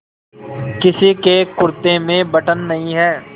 किसी के कुरते में बटन नहीं है